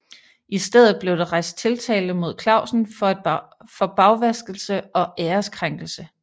I stedet blev der rejst tiltale mod Clausen for bagvaskelse og ærekrænkelse